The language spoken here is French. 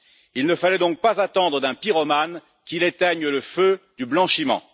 Il ne fallait donc pas attendre d'un pyromane qu'il éteigne le feu du blanchiment.